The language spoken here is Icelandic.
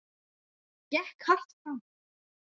Gekk hart fram.